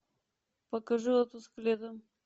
покажи отпуск летом